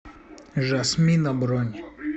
жасмина бронь